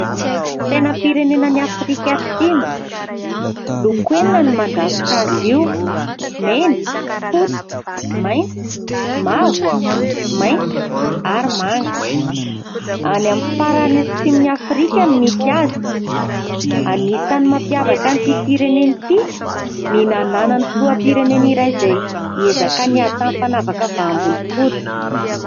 Sainam-pirenenan'i Afrika Atsimo. Loko enina no mandrafitra azy io ; mena, fotsy, maitso, mavo, mainty ary manga. Any amin'ny farany atsimon'i Afrika no misy azy. Anisan'ny mampiavaka an'ity firenena ity ny nananany filoham-pirenena iray izay niezaka niady tamin'ny fanavaka vaham-bolokoditra.